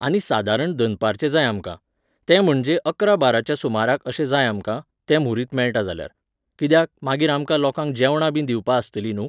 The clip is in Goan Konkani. आनी सादारण दनपारचें जाय आमकां. तें म्हणजे अकरा बाराच्या सुमाराक अशें जाय आमकां, तें म्हुरीत मेळटा जाल्यार. कित्याक, मागीर आमकां लोकांक जेवणां बी दिवपा आस्तलीं न्हू?